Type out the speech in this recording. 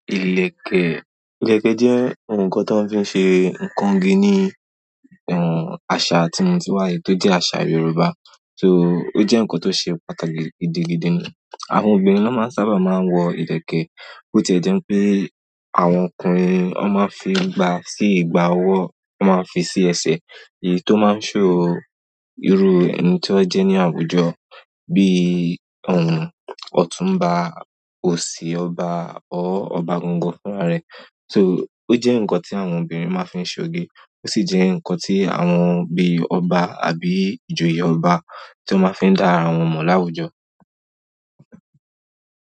Ìlẹ̀kẹ̀, ìlẹ̀kẹ̀ jẹ́ nǹkan tó fi ṣe ǹkan igi ní, àṣà tí mo ti wá, èyí tó jẹ́ àṣà Yorùbá. Sóò ó jẹ́ ǹkan tó ṣe pàtàkì gidigidi ni. Àwọn obìnrin ná máa ń sábà máa ń wọ ìlẹ̀kẹ̀, bó ti ò jẹ́ pé àwọn ọkùnrin wọ́n máa ń fi gba sí ìgbà wọ́, wọn máa ń fi sí ẹsẹ̀, èyí tó máa ń show. Irú ẹni tí wọ́n jẹ́ ní àwùjọ bíi Ọ̀túnba, òsì ọba or ọba gangan fúnra rẹ̀. So ó jẹ́ ǹkan tí àwọn obìnrin máa ń fi ṣe oge, ó sì jẹ́ ǹkan tí àwọn bíi ọba àbí ìjòyè ọba tán máa ń fi dá ara wọn mọ̀ láwùjọ.